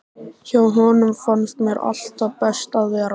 Hjá honum fannst mér alltaf best að vera.